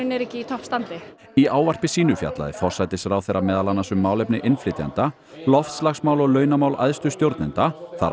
eru ekki í toppstandi í ávarpi sínu fjallaði forsætisráðherra meðal annars um málefni innflytjenda loftslagsmál og launamál æðstu stjórnenda þar